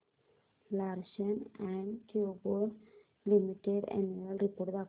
Larsen and टुर्बो limited annual report दाखव